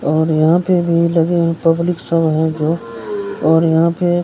और यहाँ पे भी लगे हैं पब्लिक सब है जो और यहाँ पे --